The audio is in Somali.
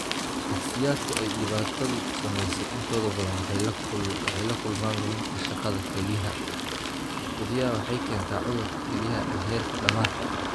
Shakhsiyaadka ay dhibaatadu saameysey intooda badan waxay la kulmaan luminta shaqada kelyaha, badiyaa waxay keentaa cudurka kelyaha ee heerka dhamaadka.